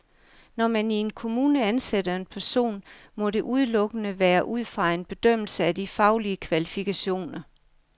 Når man i en kommune ansætter en person, må det udelukkende være ud fra en bedømmelse af de faglige kvalifikationer.